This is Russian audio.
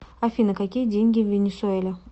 афина какие деньги в венесуэле